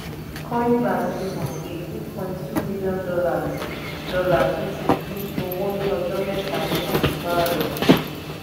coinglass fi hàn pé eight point two milion dollars naira tún di owó ní ọjọ́ mẹ́ta ní pàsípàrọ̀.